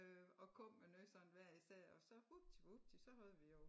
Øh og kom med noget sådan hvad jeg sagde og så huptivupti så havde vi jo